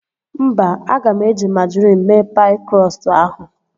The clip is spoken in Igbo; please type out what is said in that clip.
Mba, aga m eji majrin mee paị krọstụ ahụ